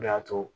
O de y'a to